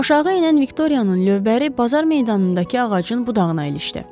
Aşağı enən Viktorianın lövbəri bazar meydanındakı ağacın budağına ilişdi.